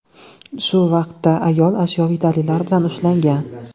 Shu vaqtda ayol ashyoviy dalillar bilan ushlangan.